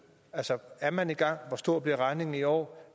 altså er man i gang hvor stor bliver regningen i år